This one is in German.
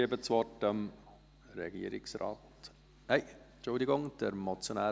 Der Motionär möchte nach dem Regierungsrat sprechen.